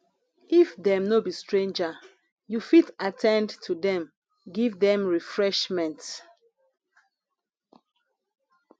if dem no be stranger you fit at ten d to dem give dem refreshment